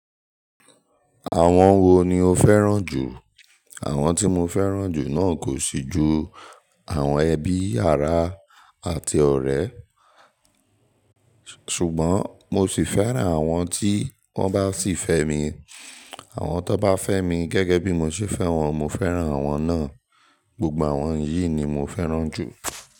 Àwọn wo ni o fẹ́ràn jù? Àwọn tí mo fẹ́ràn jù náà kò sì ju àwọn ẹbí, àrá àti ọ̀rẹ́, ṣùgbọ́n mo sì fẹ́ràn àwọn tí wọ́n bá sì fẹ́ mi. Àwọn tó bá fẹ́ mi gẹ́gẹ́ bí mo ṣe fẹ́ wọn, mo fẹ́ràn àwọn náà. Gbogbo àwọn yìí ni mo fẹ́ràn jù.